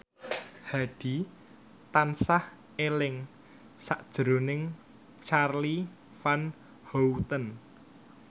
Hadi tansah eling sakjroning Charly Van Houten